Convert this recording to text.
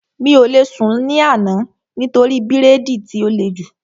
Mi ò lè sùn ní àná nítorí bírèèdì tí ó le jù